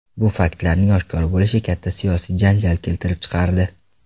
Bu faktlarning oshkor bo‘lishi katta siyosiy janjal keltirib chiqardi.